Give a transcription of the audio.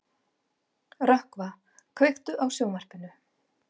Rökkva, kveiktu á sjónvarpinu.